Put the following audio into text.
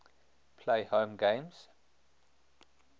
play home games